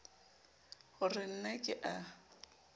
ho re na ke a